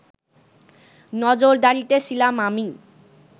নজরদারিতে ছিলাম আমি